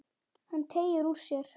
Hann teygir úr sér.